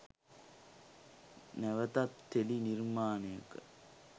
නැවතත් ටෙලි නිර්මාණයක